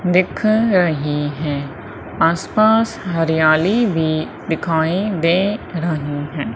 दिख रही है आस पास हरियाली भी दिखाई दे रही है।